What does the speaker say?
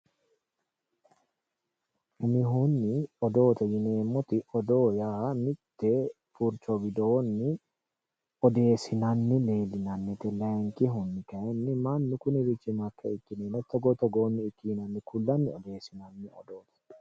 Umihunni odoote yineemmoti, odoo yaa mite furicho widooni odeesinanni leelinannite layinkihunni mannu kunirichi mayikke ikki yeenna togo togooniti yinnanni ku'lanni odeessinanni odoo no.